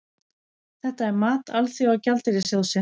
Þetta er mat Alþjóða gjaldeyrissjóðsins